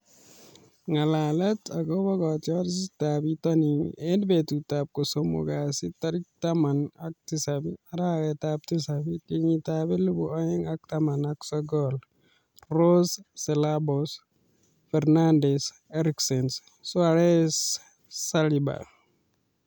Ng'alalet akobo kotiorsetab bitonin eng betutab kosomok kasi tarik taman ak tisab, arawetab tisab, kenyitab elebu oeng ak taman ak sokol :Rose, Ceballos, Fernandes, Eriksen ,Soares, Saliba